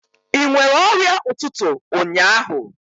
Ị nwere ọrịa ụtụtụ ụnyaahụ?